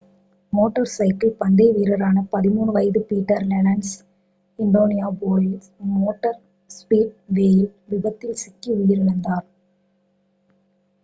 motor cycle பந்தய வீரரான 13 வயது பீட்டர் லென்ஸ் இண்டியானாபோலிஸ் மோட்டார் ஸ்பீட்வேயில் விபத்தில் சிக்கி உயிரிழந்தார்